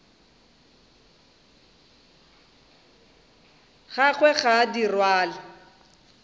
gagwe ga a di rwale